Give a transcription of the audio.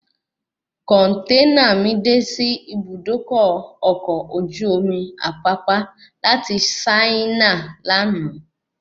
Kọ̀nténà mi de sí Ibùdókọ̀ ọkọ̀ ojú omi Apapa láti Saina lànà